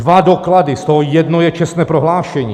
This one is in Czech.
Dva doklady, z toho jedno je čestné prohlášení.